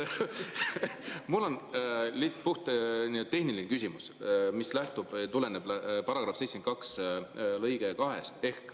Mul on puhttehniline küsimus, mis tuleneb § 72 lõikest 2.